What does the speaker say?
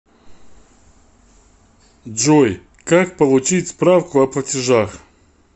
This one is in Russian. джой как получить справку о платежах